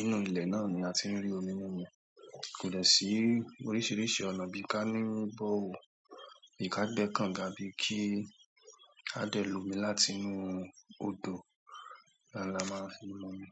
inú ilẹ̀ náà ni a ti rí omi mímu, kò dẹ̀ sí oríṣiríṣi ọ̀nà bí i ká ní borehole, bí i ká gbẹ́ kànga bí kí á dẹ lomí láti inú o odò la a máa fi ń mu omi.